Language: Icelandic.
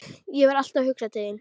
Ég var alltaf að hugsa til þín.